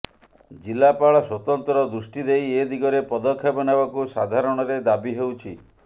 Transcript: ଜିଲ୍ଳାପାଳ ସ୍ବତନ୍ତ୍ର ଦୃଷ୍ଟି ଦେଇ ଏ ଦିଗରେ ପଦକ୍ଷେପ ନେବାକୁ ସାଧାରଣରେ ଦାବି ହେଉଛି